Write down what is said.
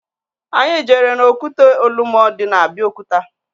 Anyị jere n'okwute Olumo dị na Abiokuta